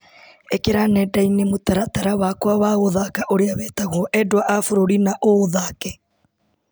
ĩkĩra nenda-inĩ mũtaratara wakwa wa gũthaka ũrĩa wĩtagwo endwa a bũrũri na ũũthake.